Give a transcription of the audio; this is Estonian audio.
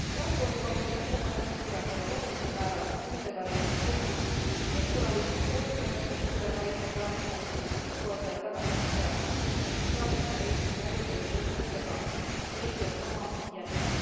Transpordikomisjoni ettepanekud suurendavad olulisel määral puudega reisijate õigusi meeskonnaliikmeid koolitatakse puudega reisijate abistamiseks, juhtkoertele tagatakse head tingimused, saatjata reisimise alusel ei või puudega reisijat maha jätta.